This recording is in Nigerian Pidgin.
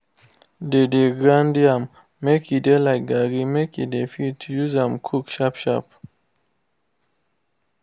they dey grind yam make e de like garri make dey fit use am cook sharp sharp